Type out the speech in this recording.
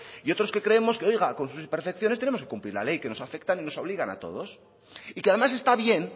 y otros que creemos que oiga con sus percepciones tenemos que cumplir la ley que nos afectan y nos obligan a todos y que además está bien